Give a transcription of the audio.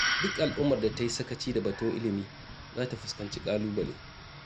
Duk al'ummar da ta yi sakaci da batun ilimi za ta fuskanci ƙalubale.